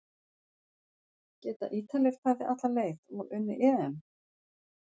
Geta Ítalir farið alla leið og unnið EM?